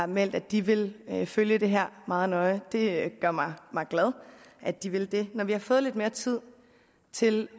meldt at de vil følge det her meget nøje og det gør mig glad at de vil det når vi har fået lidt mere tid til